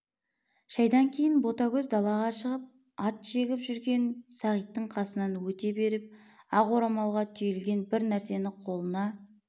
шайдан кейін ботагөз далаға шығып ат жегіп жүрген сағиттың қасынан өте беріп ақ орамалға түйілген бір нәрсені қолына